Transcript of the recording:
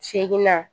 Seginna